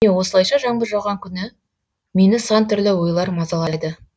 міне осылайша жаңбыр жауған күні мені сан түрлі ойлар мазалайды